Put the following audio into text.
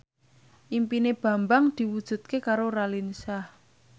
impine Bambang diwujudke karo Raline Shah